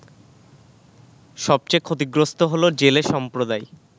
সবচেয়ে ক্ষতিগ্রস্ত হলো জেলে সম্প্রদায়